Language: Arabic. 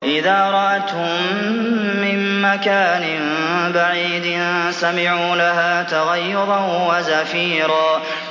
إِذَا رَأَتْهُم مِّن مَّكَانٍ بَعِيدٍ سَمِعُوا لَهَا تَغَيُّظًا وَزَفِيرًا